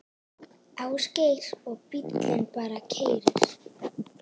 Ásgeir: Og bíllinn bara keyrir?